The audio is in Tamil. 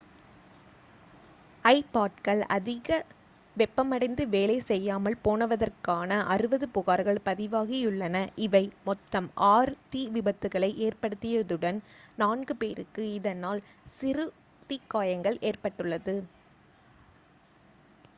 ஐபாட்கள் அதிக வெப்பமடைந்து வேலை செய்யாமல் போனதற்கான 60 புகார்கள் பதிவாகியுள்ளன இவை மொத்தம் ஆறு தீ விபத்துக்களை ஏற்படுத்தியதுடன் நான்கு பேருக்கு இதனால் சிறு தீக்காயங்கள் ஏற்பட்டுள்ளது